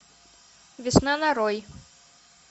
весна нарой